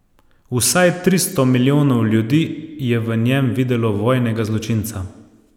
Vsaj tristo milijonov ljudi je v njem videlo vojnega zločinca.